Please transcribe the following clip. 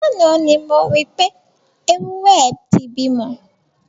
Lánàá ni mo rí pé, ewúrẹ́ ẹ ti bímọ.